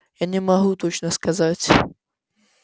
я не могу точно сказать